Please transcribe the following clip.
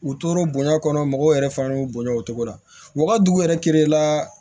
U toro bonya kɔnɔ mɔgɔw yɛrɛ fana y'o bonya o cogo la wagati yɛrɛ la